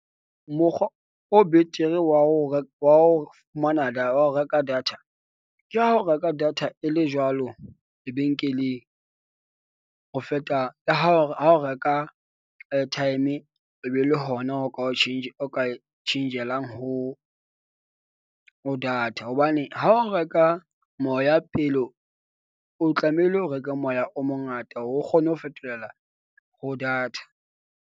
Mokgwa o betere wa o wa o fumana wa ho reka data ke ha o reka data e le jwalo lebenkeleng, ho feta le ha le ha o reka airtime e be le hona o ka o change, o ka tjhentjhelang ho data. Hobane ha o reka moya, pele o tlamehile o reke moya o mongata o kgone ho fetolela ho data.